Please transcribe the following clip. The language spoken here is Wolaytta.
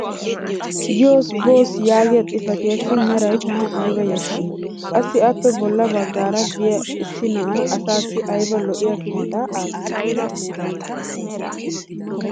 yoos booss yaagiya xifattiyaassi meraya tana aybba yashshii! qassi appe bola bagaara diya issi na"ay asaassi aybba lo'iya kiittaa aattii?